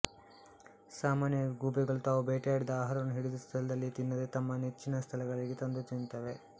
ಸಾಮಾನ್ಯವಾಗಿ ಗೂಬೆಗಳು ತಾವು ಬೇಟೆಯಾಡಿದ ಆಹಾರವನ್ನು ಹಿಡಿದ ಸ್ಥಳದಲ್ಲಿಯೇ ತಿನ್ನದೆ ತಮ್ಮ ಮೆಚ್ಚಿನ ಸ್ಥಳಗಳಿಗೆ ತಂದು ತಿನ್ನುತ್ತವೆ